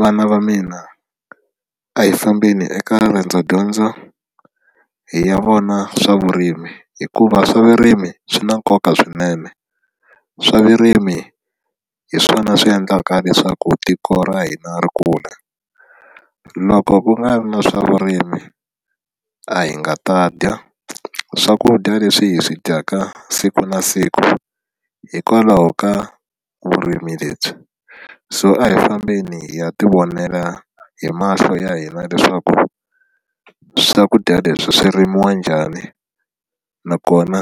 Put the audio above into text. Vana va mina a hi fambini eka riendzo dyondzo hi ya vona swa vurimi hikuva swa vurimi swi na nkoka swinene swa vurimi hi swona swi endlaka leswaku tiko ra hina ri kula loko ku nga ri na swa vurimi a hi nga ta dya swakudya leswi hi swi dyaka siku na siku hikwalaho ka vurimi lebyi so a hi fambeni hi ya tivonela hi mahlo ya hina leswaku swakudya leswi swi rimiwa njhani nakona